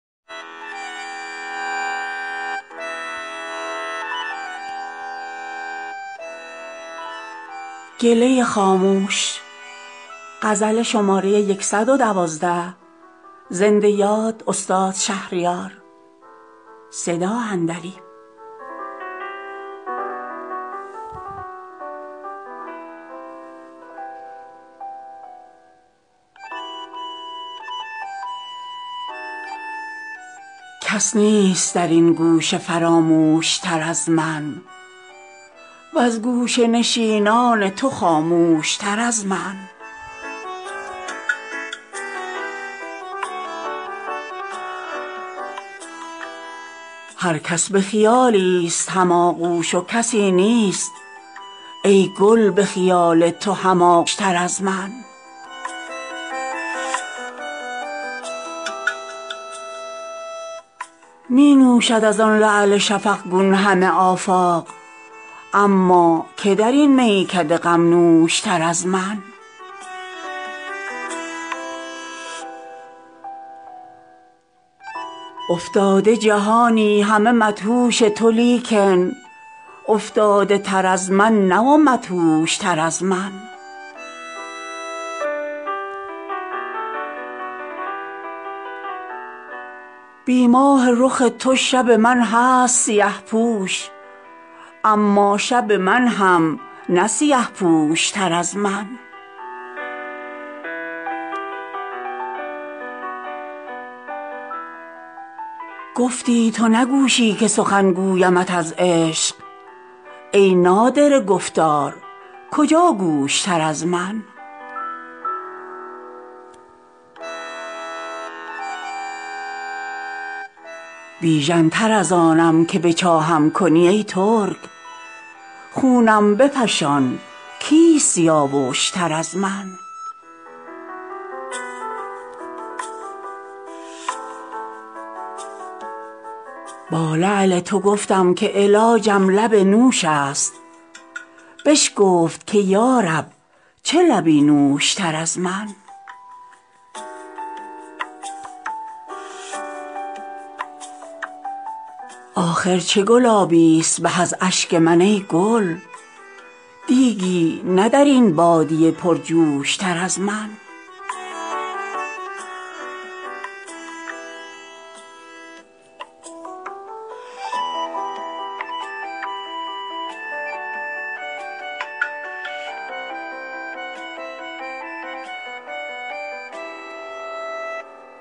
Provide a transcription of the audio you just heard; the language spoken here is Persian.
کس نیست در این گوشه فراموش تر از من وز گوشه نشینان تو خاموش تر از من هر کس به خیالی ست هم آغوش و کسی نیست ای گل به خیال تو هم آغوش تر از من می نوشد از آن لعل شفقگون همه آفاق اما که در این میکده غم نوش تر از من افتاده جهانی همه مدهوش تو لیکن افتاده تر از من نه و مدهوش تر از من بی ماه رخ تو شب من هست سیه پوش اما شب من هم نه سیه پوش تر از من گفتی تو نه گوشی که سخن گویمت از عشق ای نادره گفتار کجا گوش تر از من می خوابم و چشم از حسد مدعی ام باز کو خرتر از این حاسد و خرگوش تر از من بیژن تر از آنم که به چاهم کنی ای ترک خونم بفشان کیست سیاووش تر از من با لعل تو گفتم که علاجم لب نوش است بشکفت که یارب چه لبی نوش تر از من آخر چه گلابی است به از اشک من ای گل دیگی نه در این بادیه پرجوش تر از من